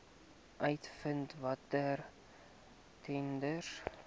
uitvind watter tenders